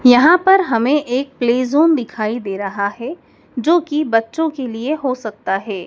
यहां पर हमें एक प्ले जोन दिखाई दे रहा है जो कि बच्चों के लिए हो सकता है।